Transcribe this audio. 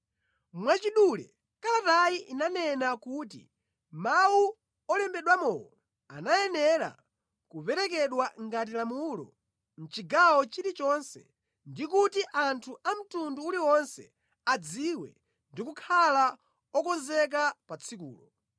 Mwachidule kalatayi inanena kuti mawu olembedwamowo anayenera kuperekedwa ngati lamulo mʼchigawo chilichonse ndi kuti anthu a mtundu uliwonse adziwe ndi kukhala okonzeka pa tsikulo.